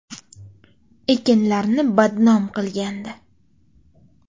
– Ekinlarni badnom qilgandi.